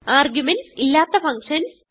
arguments ഇല്ലാത്ത functions